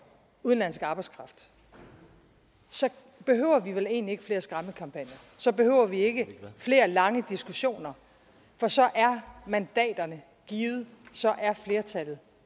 udenlandsk arbejdskraft så behøver vi vel egentlig ikke flere skræmmekampagner så behøver vi ikke flere lange diskussioner for så er mandaterne givet så er flertallet